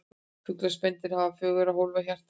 Fuglar og spendýr hafa fjögurra hólfa hjarta.